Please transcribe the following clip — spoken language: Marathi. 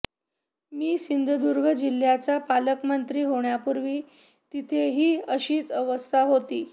मी सिंधुदुर्ग जिल्ह्याचा पालकमंत्री होण्यापूर्वी तिथेही अशीच अवस्था होती